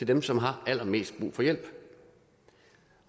dem som har allermest brug for hjælp